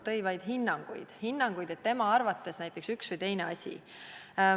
Kuulsime vaid hinnanguid – hinnanguid, et tema arvates on tegu ühe või teise asjaga.